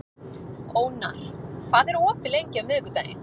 Ónar, hvað er opið lengi á miðvikudaginn?